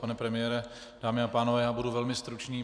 Pane premiére, dámy a pánové, já budu velmi stručný.